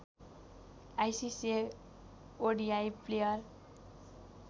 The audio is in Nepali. ICC ODI player